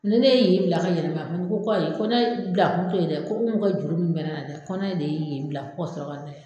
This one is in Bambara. Ni ne ye yen bila ka yɛlɛma ko ayi ko bila kun t'o ye dɛ ko ko komi o ka juru min bɛ ne la dɛ ko ne de ye yen bila ka sɔrɔ ka na